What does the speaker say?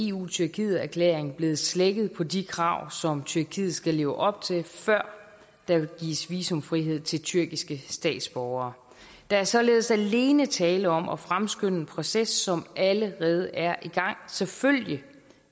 eu tyrkiet erklæringen blevet slækket på de krav som tyrkiet skal leve op til før der gives visumfrihed til tyrkiske statsborgere der er således alene tale om at fremskynde en proces som allerede er i gang selvfølgelig